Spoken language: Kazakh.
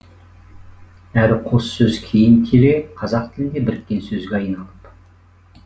әрі қос сөз кейін келе қазақ тілінде біріккен сөзге айналып